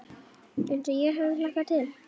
Eins og ég hafði hlakkað til.